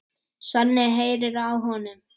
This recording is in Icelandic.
Svenni heyrir það á honum.